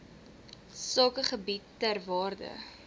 sakegebiede ter waarde